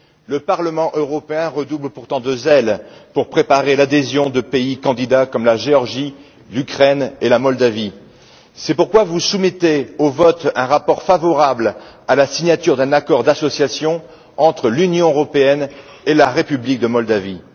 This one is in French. le Parlement européen redouble pourtant de zèle pour préparer l'adhésion de pays candidats comme la Géorgie, l'Ukraine et la Moldavie. C'est pourquoi vous soumettez au vote un rapport favorable à la signature d'un accord d'association entre l'Union européenne et la République de Moldavie.